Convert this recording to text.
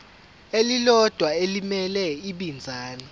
elilodwa elimele ibinzana